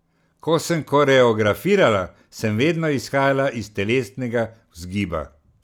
Ko sem koreografirala, sem vedno izhajala iz telesnega vzgiba.